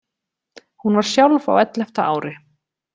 Hún var sjálf á ellefta ári.